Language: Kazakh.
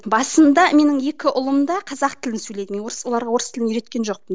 басында менің екі ұлым да қазақ тілін сөйлейді мен орыс оларға орыс тілін үйреткен жоқпын